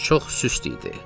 Çox süst idi.